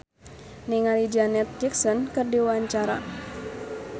Cristine Hakim olohok ningali Janet Jackson keur diwawancara